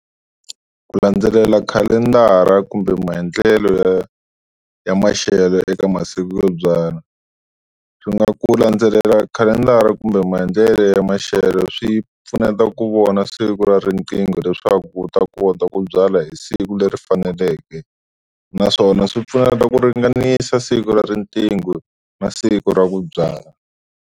Ku landzelela khalendara kumbe maendlelo ya ya maxelo eka masiku yo byala, swi nga ku landzelela khalendara kumbe maendlelo ya maxelo swi pfuneta ku vona siku ra riqingho leswaku u ta kota ku byala hi siku leri faneleke naswona swi pfuneta ku ringanisa siku ra riqingho na siku ra ku byala.